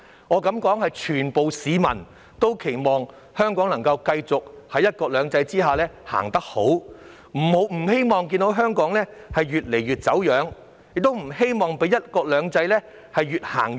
我敢說全部市民都期望香港能夠繼續在"一國兩制"下前行，不希望看到香港越來越走樣，亦不希望與"一國兩制"越行越遠。